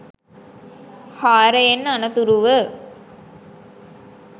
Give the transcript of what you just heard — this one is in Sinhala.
හාරයෙන් අනතුරුව